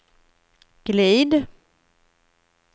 glid